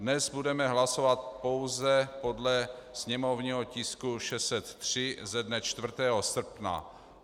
Dnes budeme hlasovat pouze podle sněmovního tisku 603 ze dne 4. srpna.